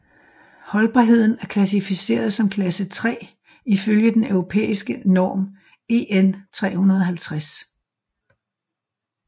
Holdbarheden er klassificeret som klasse 3 ifølge den europæiske norm EN350